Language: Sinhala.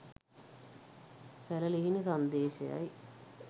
සැළලිහිණි සන්දේශයයි.